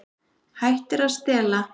Hættir að stela.